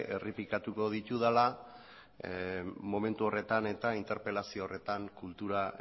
errepikatuko ditudala momentu horretan eta interpelazio horretan kultura